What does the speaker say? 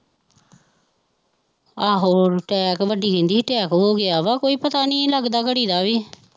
ਆਹੋ, attack ਵੱਡੀ ਕਹਿੰਦੀ ਸੀ attack ਹੋ ਗਿਆ ਵਾ, ਕੋਈ ਪਤਾ ਨਹੀਂ ਲੱਗਦਾ ਘੜੀ ਦਾ ਵੀ,